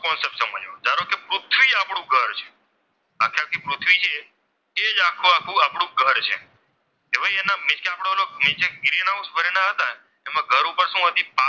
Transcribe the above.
તો આખું આપણું ઘર છે તેમાં મિન્સ કે આપણા ગ્રીનહાઉસ ભરેલા હતા તેમાં ઘર ઉપર શું હતી?